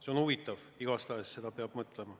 See on huvitav igatahes, selle üle peab mõtlema.